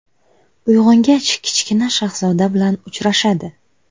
Uyg‘ongach, Kichkina shahzoda bilan uchrashadi.